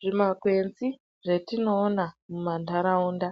Zvimakwenzi zvetinoona mumandaraunda